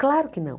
Claro que não.